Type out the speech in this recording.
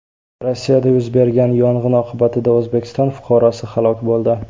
Rossiyada yuz bergan yong‘in oqibatida O‘zbekiston fuqarosi halok bo‘ldi.